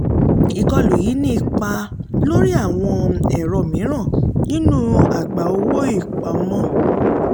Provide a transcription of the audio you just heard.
ìkọlù yìí ní ipá lórí àwọn ẹ̀rọ mìíràn nínú àgbá owó-ìpamọ́.